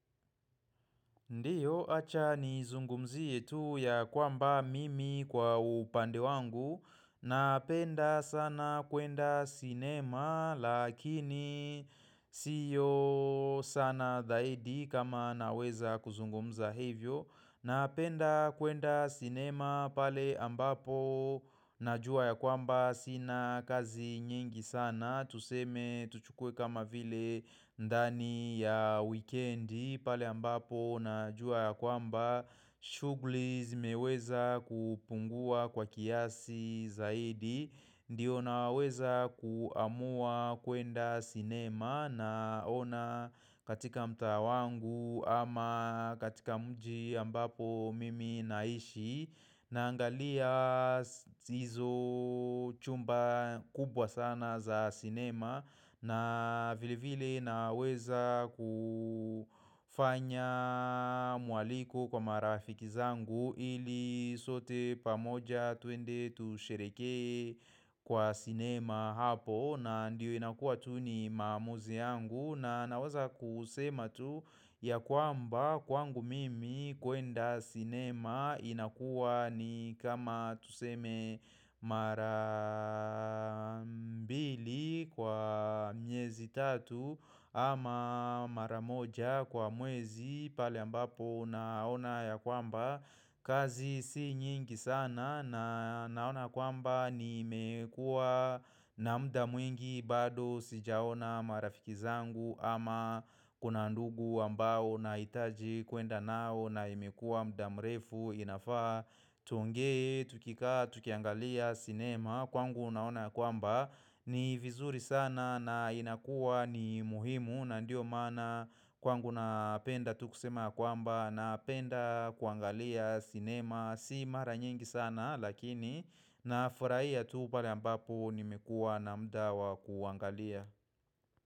Ndiyo acha nizungumzie tu ya kwamba mimi kwa upande wangu Napenda sana kwenda sinema lakini siyo sana zaidi kama naweza kuzungumza hivyo Napenda kwenda sinema pale ambapo najua ya kwamba sina kazi nyingi sana Tuseme tuchukue kama vile ndani ya wikendi pale ambapo najua ya kwamba shugli zimeweza kupungua kwa kiasi zaidi Ndiyo naweza kuamua kuenda cinema naona katika mtaa wangu ama katika mji ambapo mimi naishi Naangalia zizo chumba kubwa sana za sinema na vile vile naweza kufanya mwaliko kwa marafiki zangu ili sote pamoja tuende tushereheke kwa sinema hapo na ndiyo inakua tu ni maamuzi yangu na naweza kusema tu ya kwamba kwangu mimi kuenda sinema inakuwa ni kama tuseme mara mbili kwa miezi tatu ama maramoja kwa mwezi pale ambapo naona ya kwamba kazi si nyingi sana na naona kwamba nimekua na muda mwingi bado sijaona marafiki zangu ama kuna ndugu ambao naitaji kuenda nao na imekuwa muda mrefu inafaa tuongee, tukikaa, tukiangalia, sinema Kwangu unaona kwamba ni vizuri sana na inakuwa ni muhimu na ndio maana kwangu napenda tu kusema kwamba napenda kuangalia sinema Si mara nyingi sana lakini na furahia tu pale ambapo nimekuwa na muda wa kuangalia.